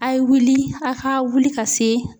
A' ye wuli a' ka wuli ka se